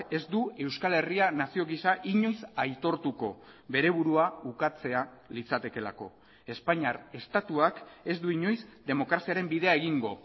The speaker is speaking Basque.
ez du euskal herria nazio gisa inoiz aitortuko bere burua ukatzea litzatekeelako espainiar estatuak ez du inoiz demokraziaren bidea egingo